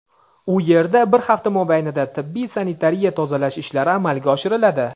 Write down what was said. u yerda bir hafta mobaynida tibbiy-sanitariya tozalash ishlari amalga oshiriladi.